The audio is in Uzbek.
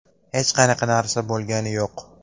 Hech qanaqa narsa bo‘lgani yo‘q.